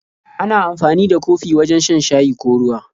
Ana amfani da kofi wajen shan shayi ko ruwa.